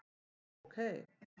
Já, ok